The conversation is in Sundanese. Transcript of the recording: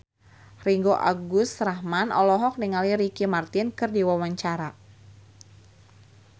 Ringgo Agus Rahman olohok ningali Ricky Martin keur diwawancara